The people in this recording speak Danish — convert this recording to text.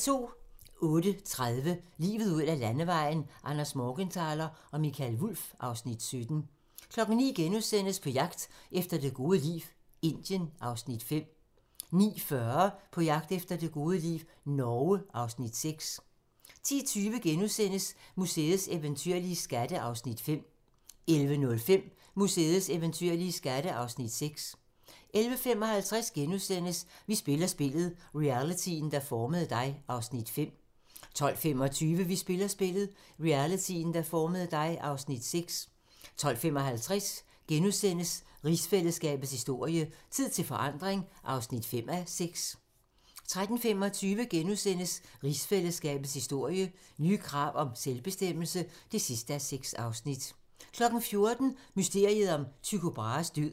08:30: Livet ud ad Landevejen: Anders Morgenthaler og Mikael Wulff (Afs. 17) 09:00: På jagt efter det gode liv - Indien (Afs. 5)* 09:40: På jagt efter det gode liv - Norge (Afs. 6) 10:20: Museets eventyrlige skatte (Afs. 5)* 11:05: Museets eventyrlige skatte (Afs. 6) 11:55: Vi spiller spillet - realityen, der formede dig (Afs. 5)* 12:25: Vi spiller spillet - realityen, der formede dig (Afs. 6) 12:55: Rigsfællesskabets historie: Tid til forandring (5:6)* 13:25: Rigsfællesskabets historie: Nye krav om selvbestemmelse (6:6)* 14:00: Mysteriet om Tycho Brahes død